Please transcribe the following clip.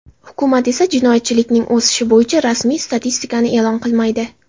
Hukumat esa jinoyatchilikning o‘sishi bo‘yicha rasmiy statistikani e’lon qilmaydi.